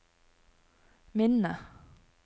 minne